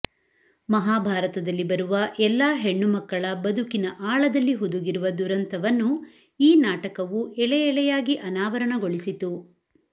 ಮಹಾಭಾರತದಲ್ಲಿ ಬರುವ ಎಲ್ಲಾ ಹೆಣ್ಣು ಮಕ್ಕಳ ಬದುಕಿನ ಆಳದಲ್ಲಿ ಹುದುಗಿರುವ ದುರಂತವನ್ನು ಈ ನಾಟಕವು ಎಳೆ ಎಳೆಯಾಗಿ ಅನಾವರಣಗೊಳಿಸಿತು